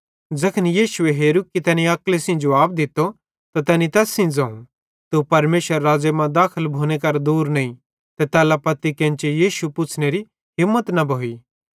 ज़ैखन यीशुए हेरू कि तैनी अक्ली सेइं जुवाब दित्तो त तैनी तैस सेइं ज़ोवं तू परमेशरेरे राज़्ज़े मां दाखल भोने करां दूर नईं ते तैल्ला पत्ती केन्ची यीशु किछ पुछ़नेरी हिम्मत न भोइ